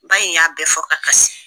Ba in y'a bɛɛ fɔ ka kasi.